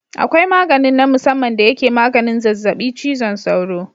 Akwai maganin na musamman da yake maganin zazzabi cizon sauro.